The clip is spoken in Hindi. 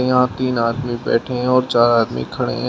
यहां तीन आदमी बैठे हैं और चार आदमी खड़े हैं।